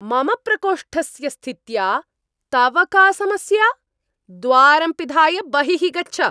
मम प्रकोष्ठस्य स्थित्या तव का समस्या? द्वारं पिधाय बहिः गच्छ।